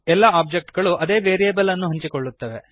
ಎಲ್ಲ ಒಬ್ಜೆಕ್ಟ್ ಗಳು ಅದೇ ವೇರಿಯಬಲ್ ಅನ್ನು ಹಂಚಿಕೊಳ್ಳುತ್ತವೆ